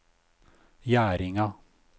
Gjerdinga